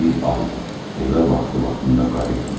Bir aydır evə vaxtı-vaxtında qayıtmır.